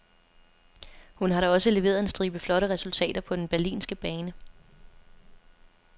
Hun har da også leveret en stribe flotte resultater på den berlinske bane.